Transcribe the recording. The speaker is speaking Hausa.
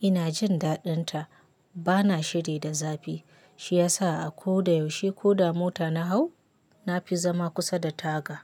ina jin daɗinta. Bana shiri da zafi, shi ya sa a ko da yaushe ko da mota na hau, na fi zama kusa da taga.